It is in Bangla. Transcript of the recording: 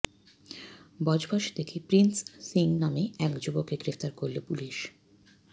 বজবজ থেকে প্রিন্স সিং নামে এক যুবককে গ্রেফতার করল পুলিশ